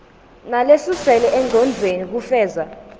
nalesuselwe engcondvweni kufeza